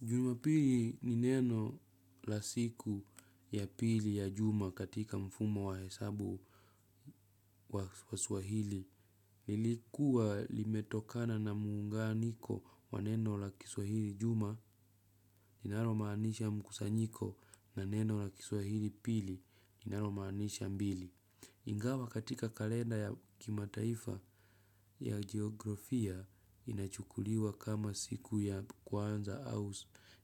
Jumapili ni neno la siku ya pili ya juma katika mfumo wa hesabu wa waswahili. Lilikuwa limetokana na muunganiko wa neno la kiswahili juma. Inaro maanisha mkusanyiko na neno la kiswahili pili. Inaromaanisha mbili. Ingawa katika kalenda ya kimataifa ya geografia inachukuliwa kama siku ya kwanza au